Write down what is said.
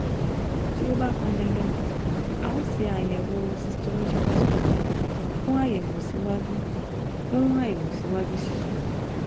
Bí ó bá pọn dandan, a ó ṣe àyẹ̀wò cytological sputum fún àyẹ̀wò síwájú fún àyẹ̀wò síwájú sí i